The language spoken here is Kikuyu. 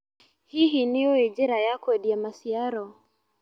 Hihi nĩũĩ njĩra ya kwendia maciaro.